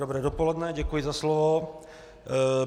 Dobré dopoledne, děkuji za slovo.